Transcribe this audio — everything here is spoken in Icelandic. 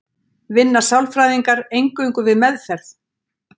Vinna sálfræðingar eingöngu við meðferð?